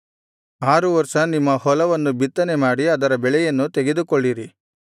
ಆರು ವರ್ಷ ನಿಮ್ಮ ಹೊಲವನ್ನು ಬಿತ್ತನೆಮಾಡಿ ಅದರ ಬೆಳೆಯನ್ನು ತೆಗೆದುಕೊಳ್ಳಿರಿ